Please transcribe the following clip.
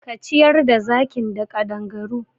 Ka ciyar da zakin da ƙadangaru!